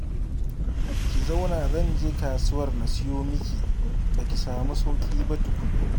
Ki zauna zan je kasuwar na siyo miki, ba ki samu sauƙi ba tukun